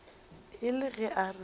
e le ge a re